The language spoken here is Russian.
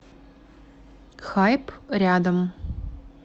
хайп рядом